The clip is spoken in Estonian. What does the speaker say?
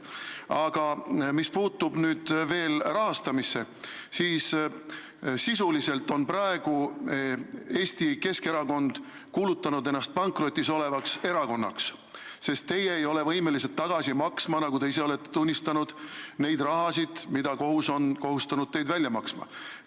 Aga mis puutub veel rahastamisse, siis sisuliselt on Eesti Keskerakond kuulutanud ennast praegu pankrotis olevaks erakonnaks, sest te ei ole võimelised tagasi maksma, nagu te ise olete tunnistanud, seda raha, mida kohus on kohustanud teid välja maksma.